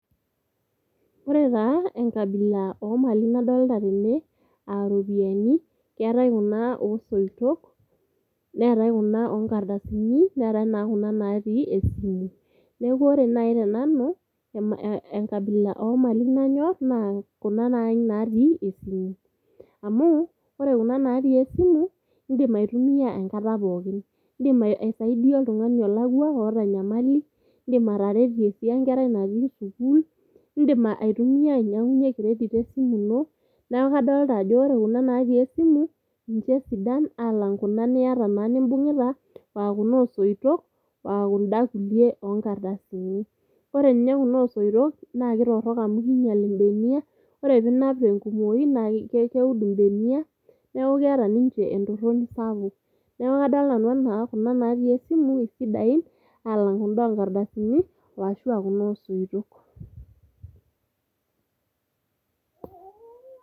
Ore taa enkabila omali nadolita tene aa ropiyiani keetae kuna osoitok , neetae kuna onkardasin , neetae kuna natii esimu . Niaku ore nai tenanu enkabila omali nayor naa kuna naji natii esimu. Amu ore natii esimu ,indim aitumia enkata pookin, indim aisaidia oltungani olakwa oota enyamali, indim ataretie enkerai natii sukuul, indimaitumia ainyiangunyie credit e simu ino .Naa kadolta ajo ore kuna natii esimu ninche sidan alang kuna niata nimbungita , aa kuna osoitok aa kunda kulie onkardasin .Ore ninye kuna osoitok naa kitorok amu kinyial imbenia , ore pinap tenkumoi naa keud imbenia ,niaku keeta ninche entoroni sapuk . Niaku kadolita nanu anaa kuna natii esimu isidain alang kunda onkardasini ashuaa kuna osoitok.